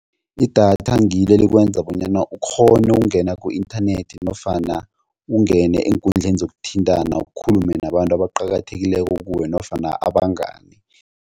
Idatha ngilo elikwenza bonyana ukghone ukungena ku-inthanethi nofana ungene eenkundleni zokuthintana ukhulume nabantu aqakathekileko kuwe nofana abangani.